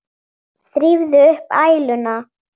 Þrífðu upp æluna.